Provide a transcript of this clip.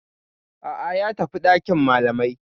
A'a, ya tafi dakin malamai.